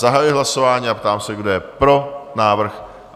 Zahajuji hlasování a ptám se, kdo je pro návrh?